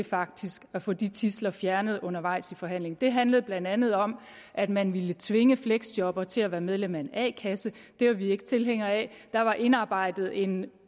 faktisk at få de tidsler fjernet undervejs i forhandlingen det handlede blandt andet om at man ville tvinge fleksjobbere til at være medlem af en a kasse det var vi ikke tilhængere af der var indarbejdet en